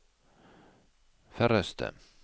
færreste